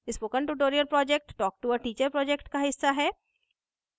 spoken tutorial project talktoa teacher project का हिस्सा है